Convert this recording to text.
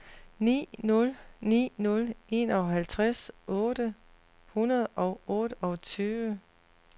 ni nul ni nul enoghalvtreds otte hundrede og otteogtyve